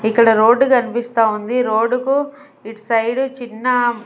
ఇక్కడ రోడ్డు కన్పిస్తా ఉంది రోడ్డుకు ఇట్సైడు చిన్న--